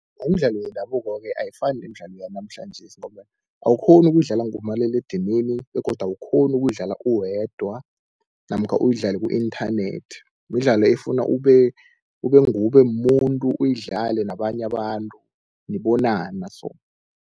Umdlalo wendabuko-ke ayifani nemidlalo yanamhlanjesi, ngombana awukghoni ukuyidlala ngomaliledinini begodu awukghoni ukuyidlala uwedwa namkha uyidlale ku-inthanethi. Midlalo efuna ube nguwe ube mumuntu uyidlale nabanye abantu, nibonana so.